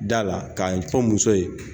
Da la ka fɔ muso ye